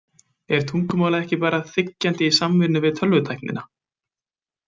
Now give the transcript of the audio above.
En tungumálið er ekki bara þiggjandi í samvinnu við tölvutæknina.